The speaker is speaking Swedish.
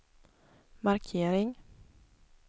markering